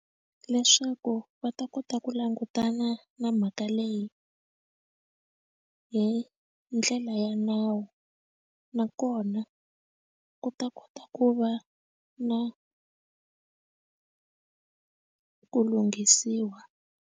Leswaku va ta kota ku langutana na mhaka leyi hi ndlela ya nawu nakona ku ta kota ku va na ku lunghisiwa.